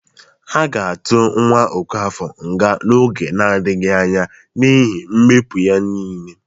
A ga-atụ nwa Ọkafọr nga n'oge nadịghị anya n'iihi mpụ ya niile